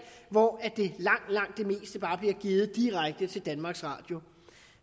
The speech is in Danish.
hvor langt langt det meste bare blive givet direkte til danmarks radio